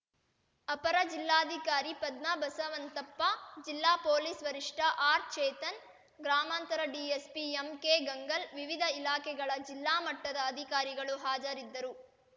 ಅಪರ ಜಿಲ್ಲಾಧಿಕಾರಿ ಪದ್ಮ ಬಸವಂತಪ್ಪ ಜಿಲ್ಲಾ ಪೊಲೀಸ್‌ ವರಿಷ್ಟಆರ್‌ಚೇತನ್‌ ಗ್ರಾಮಾಂತರ ಡಿಎಸ್ಪಿ ಎಂಕೆಗಂಗಲ್‌ ವಿವಿಧ ಇಲಾಖೆಗಳ ಜಿಲ್ಲಾ ಮಟ್ಟದ ಅಧಿಕಾರಿಗಳು ಹಾಜರಿದ್ದರು